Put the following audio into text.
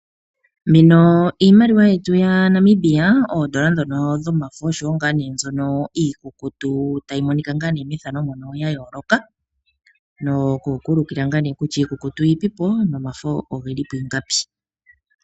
Mbino iimaliwa yetu yaNamibia oodollar dhono dhomafo oshowo ngaa nee mbyono iikukutu tayi monika ngaa nee mbyono iikukutu tayi monika methano ndjono yayoloka. Noku ku ulukila ngaa ne kutya iikukutu yi ipipo nomafo ogeli pu ingapi.